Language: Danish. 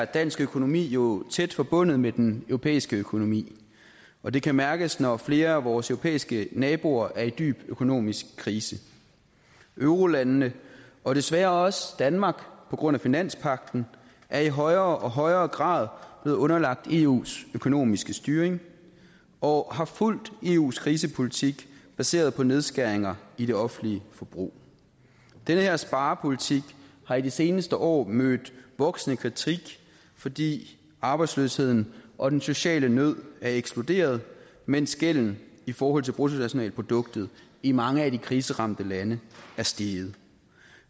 dansk økonomi er jo tæt forbundet med den europæiske økonomi og det kan mærkes når flere af vores europæiske naboer er i dyb økonomisk krise eurolandene og desværre også danmark på grund af finanspagten er i højere og højere grad blevet underlagt eus økonomiske styring og har fulgt eus krisepolitik baseret på nedskæringer i det offentlige forbrug den her sparepolitik har i de seneste år mødt voksende kritik fordi arbejdsløsheden og den sociale nød er eksploderet mens gælden i forhold til bruttonationalproduktet i mange af de kriseramte lande er steget